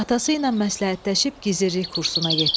Atası ilə məsləhətləşib gizirlik kursuna getdi.